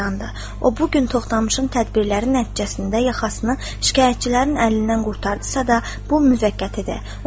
O bu gün Toxtamışın tədbirləri nəticəsində yaxasını şikayətçilərin əlindən qurtardısa da, bu müvəqqətidir.